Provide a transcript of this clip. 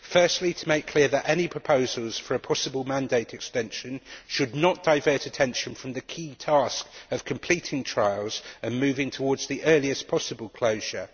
Firstly, that it should be made clear that any proposals for a possible mandate extension should not divert attention from the key task of completing trials and moving towards the earliest possible closure.